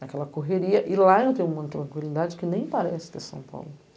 naquela correria, e lá eu tenho uma tranquilidade que nem parece ter São Paulo.